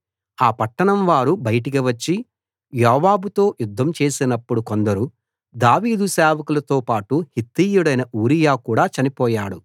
ఆ పట్టణం వారు బయటికీ వచ్చి యోవాబుతో యుద్ధం చేసినప్పుడు కొందరు దావీదు సేవకులతో పాటు హిత్తీయుడైన ఊరియా కూడా చనిపోయాడు